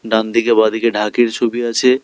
ডান দিকে বাঁ দিকে ঢাকের ছবি আছে।